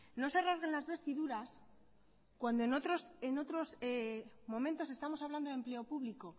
no se rasguen las vestiduras cuando en otros momentos estamos hablando de empleo público